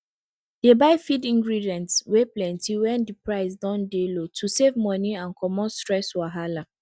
dey buy feed ingredients wey plenty when dey price don dey low to save money and comot stress wahala